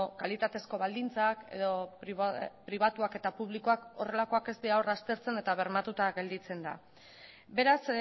kalitatezko baldintzak edo pribatuak eta publikoak horrelakoak ez dira hor aztertzen eta bermatuta gelditzen da beraz